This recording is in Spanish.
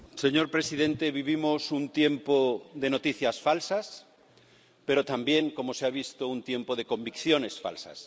Señor presidente, vivimos un tiempo de noticias falsas, pero también, como se ha visto, un tiempo de convicciones falsas.